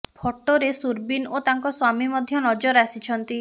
ଫଟୋରେ ସୁରବୀନ ଓ ତାଙ୍କ ସ୍ୱାମୀ ମଧ୍ୟ ନଜର ଆସିଛନ୍ତି